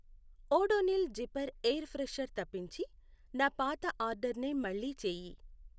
Odonil zipper air freshener తప్పించి నా పాత ఆర్డర్నే మళ్ళీ చేయి.